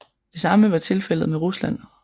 Det samme var tilfældet med Rusland